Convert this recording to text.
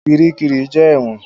Kiríkirì jẹ́ ẹ̀wọ̀n.